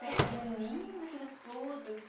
Festa junina, aquilo tudo.